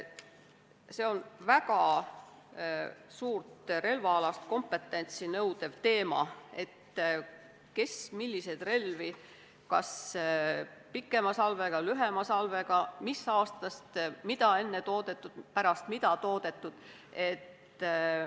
See on väga suurt relvaalast kompetentsi nõudev teema, kes milliseid relvi – kas pikema salvega, lühema salvega, enne või pärast millist aastat toodetud – omada võib.